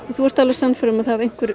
þú ert alveg sannfærður um að einhver